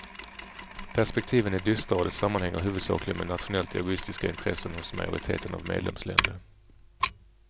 Perspektiven är dystra och det sammanhänger huvudsakligen med nationellt egoistiska intressen hos majoriteten av medlemsländer.